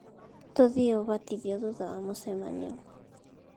Tuthiĩ ubatithio thutha wa mũcemanio